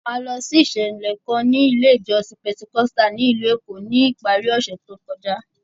A lọ sí ìṣẹ̀lẹ̀ kan ní ilé ìjọsìn Pentecostal ní ìlú Èkó ní ìparí ọ̀sẹ̀ tó kọjá.